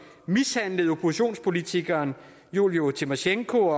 mishandlede oppositionspolitikeren julija tymosjenko